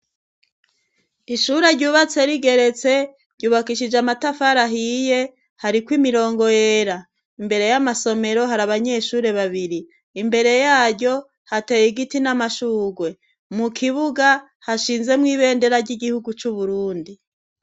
Ishure ryubatse rigeretse ryubakishije amatafara ahiye hari ku imirongo yera. Imbere y'amasomero hari abanyeshuri babiri imbere yaryo hateye igiti n'amashugwe mu kibuga hashinze mu ibendera ry'igihugu c'uburundi.